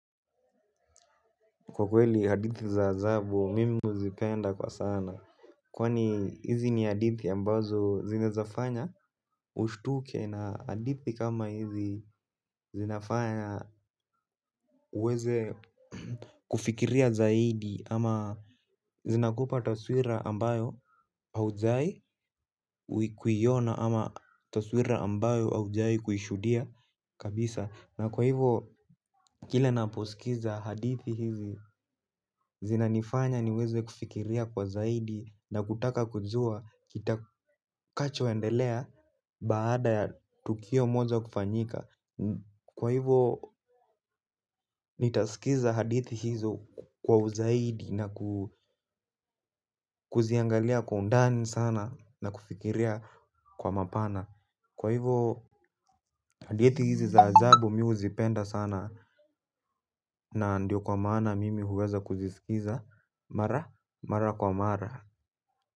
Kwa kweli hadithi za adhabu mimi huzipenda kwa sana. Kwani hizi ni hadithi ambazo zinezafanya ushtuke na hadithi kama hizi zinafanya uweze kufikiria zaidi ama zinakupa taswira ambayo haujwahi kuiona ama taswira ambayo haujawahi kuishudia kabisa. Na kwa hivo kila naposikiza hadithi hizi zinanifanya niweze kufikiria kwa zaidi na kutaka kujua kitakachoendelea baada ya tukio moja kufanyika. Kwa hivo nitasikiza hadithi hizo kwa zaidi na kuziangalia kwa undani sana na kufikiria kwa mapana. Kwa hivyo hadithi hizi za ajabu mimi huzipenda sana na ndio kwa maana mimi huweza kuzisikiza. Mara, mara kwa mara.